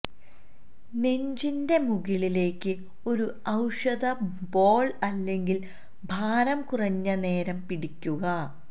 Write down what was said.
നെഞ്ചിന്റെ മുകളിലേയ്ക്ക് ഒരു ഔഷധ ബോൾ അല്ലെങ്കിൽ ഭാരം കുറഞ്ഞ നേരം പിടിക്കുക